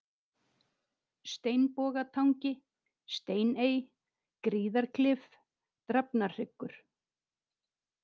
Steinbogatangi, Steiney, Gríðarklif, Drafnarhryggur